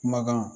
Kumakan